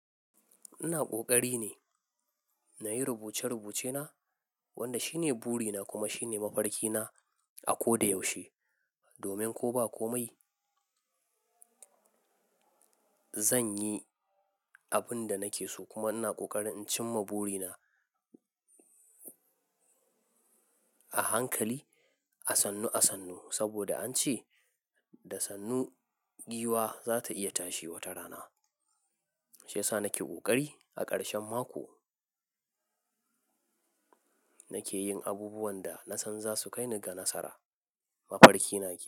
Ina ƙoƙari ne na yi rubuce-rubucena wanda shine buri na kuma shine mafarkina a ko da yaushe. Domin ko ba komai, zan yi abin da nake so kuma ina ƙoƙari in cimma buri na a hankali, a sannu-sannu saboda an ce da sannu giwa za ta iya tashi wata rana. Ya sa nake ƙoƙari a ƙarshen mako nake yin abubuwan da na san za su kai ni ga nasara. Mafarki na ke.